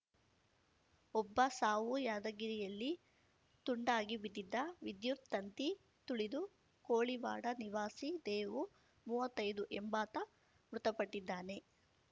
ಒಬ್ಬ ಸಾವು ಯಾದಗಿರಿಯಲ್ಲಿ ತುಂಡಾಗಿ ಬಿದ್ದಿದ್ದ ವಿದ್ಯುತ್‌ ತಂತಿ ತುಳಿದು ಕೋಳಿವಾಡ ನಿವಾಸಿ ದೇವು ಮುವ್ವತ್ತೈದು ಎಂಬಾತ ಮೃತಪಟ್ಟಿದ್ದಾನೆ